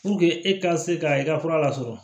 e ka se ka i ka fura lasɔrɔ